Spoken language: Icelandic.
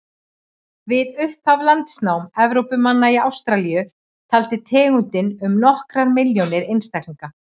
Við upphaf landnáms Evrópumanna í Ástralíu taldi tegundin um nokkrar milljónir einstaklinga.